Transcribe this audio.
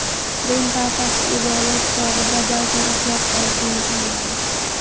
Rim papasi ibodat chog‘ida ba’zan uxlab qolishini tan oldi.